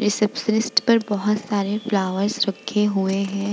Receptionist पर बहुत सारे फ्लावर रखे हुए है ।